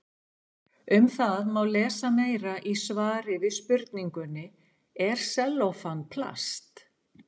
Um það má lesa meira í svari við spurningunni Er sellófan plast?